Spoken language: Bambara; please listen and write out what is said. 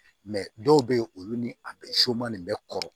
dɔw bɛ yen olu ni a bɛ so ma nin bɛ kɔrɔ